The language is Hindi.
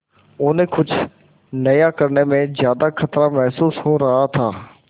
उन्हें कुछ नया करने में ज्यादा खतरा महसूस हो रहा था